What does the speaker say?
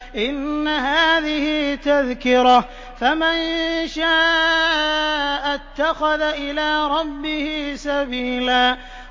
إِنَّ هَٰذِهِ تَذْكِرَةٌ ۖ فَمَن شَاءَ اتَّخَذَ إِلَىٰ رَبِّهِ سَبِيلًا